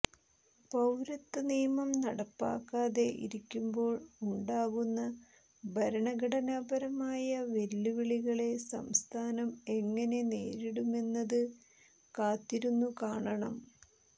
പൌരത്വ നിയമം നടപ്പാക്കാതെ ഇരിക്കുമ്പോൾ ഉണ്ടാകുന്ന ഭരണഘടനാപരമായ വെല്ലുവിളികളെ സംസ്ഥാനം എങ്ങനെ നേരിടുമെന്നത് കാത്തിരുന്നു കാണണം